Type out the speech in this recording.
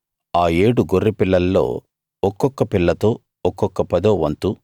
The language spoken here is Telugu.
ఆ ఏడు గొర్రెపిల్లల్లో ఒక్కొక్క పిల్లతో ఒక్కొక్క పదో వంతు